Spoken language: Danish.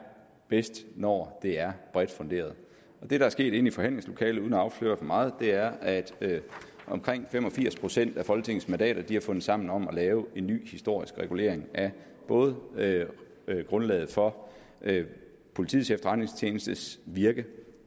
bedst når det er bredt funderet det der er sket inde i forhandlingslokalet uden at afsløre for meget er at omkring fem og firs procent af folketingets mandater har fundet sammen om at lave en ny historisk regulering af både grundlaget for politiets efterretningstjenestes virke